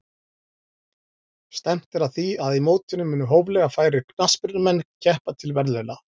Stefnt er að því að í mótinu muni hóflega færir knattspyrnumenn keppa til verðlauna.